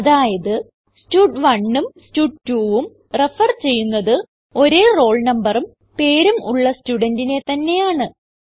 അതായത് stud1ഉം സ്റ്റഡ്2 ഉം റെഫർ ചെയ്യുന്നത് ഒരേ റോൾ നമ്പറും പേരും ഉള്ള സ്റ്റുഡന്റിനെ തന്നെയാണ്